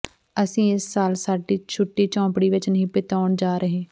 ਅਸੀਂ ਇਸ ਸਾਲ ਸਾਡੀ ਛੁੱਟੀ ਝੌਂਪੜੀ ਵਿਚ ਨਹੀਂ ਬਿਤਾਉਣ ਜਾ ਰਹੇ